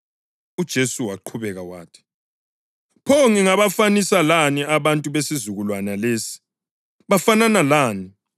UJesu waqhubeka wathi, “Pho ngingabafanisa lani abantu besizukulwane lesi? Bafanana lani?